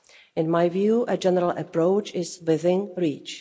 In my view, a general approach is within reach.